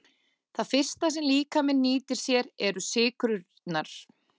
Það fyrsta sem líkaminn nýtir sér eru sykrurnar.